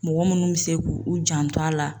Mɔgɔ munnu be se k'u u janto a la